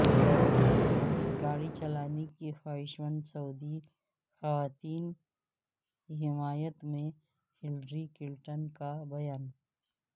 گاڑی چلانے کی خواہشمند سعودی خواتین کی حمایت میں ہلری کلنٹن کا بیان